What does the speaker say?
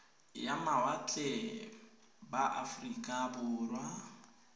ya mawatle ba aforika borwa